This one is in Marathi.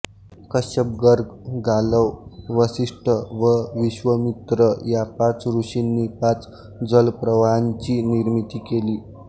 कश्यप गर्ग गालव वसिष्ठ व विश्वामित्र या पाच ऋषींनी पाच जलप्रवाहांची निर्मिती केली